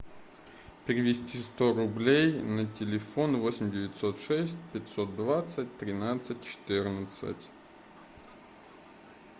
перевести сто рублей на телефон восемь девятьсот шесть пятьсот двадцать тринадцать четырнадцать